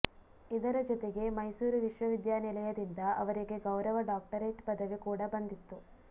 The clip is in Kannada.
ಇದರ ಜೊತೆಗೆ ಮೈಸೂರು ವಿಶ್ವವಿದ್ಯಾನಿಲಯದಿಂದ ಅವರಿಗೆ ಗೌರವ ಡಾಕ್ಟರೇಟ್ ಪದವಿ ಕೂಡ ಬಂದಿತ್ತು